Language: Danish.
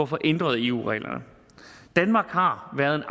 få ændret eu reglerne danmark har været